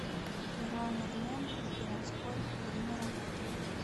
леруа мерлен городской время работы